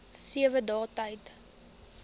sewe dae tyd